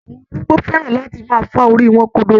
Awọn arúgbo fẹ́ran láti máa fá orí wọn kodoro